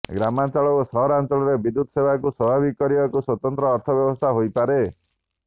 ଗ୍ରାମାଞ୍ଚଳ ଓ ସହରାଞ୍ଚଳରେ ବିଦ୍ୟୁତ ସେବାକୁ ସ୍ୱାଭାବିକ କରିବାକୁ ସ୍ୱତନ୍ତ୍ର ଅର୍ଥ ବ୍ୟବସ୍ଥା ହୋଇପାରେ